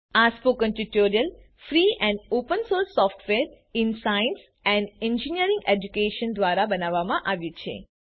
આ spoken tutorial free and open source software in science and engineering education દ્વારા બનાવવામાં આવ્યું છે